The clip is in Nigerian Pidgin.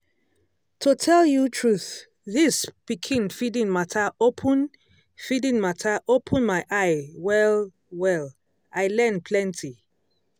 to tell you truth this pikin feeding matter open feeding matter open my eye well-well i learn plenty.